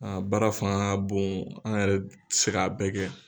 baara fanga ka bon an yɛrɛ tɛ se k'a bɛɛ kɛ.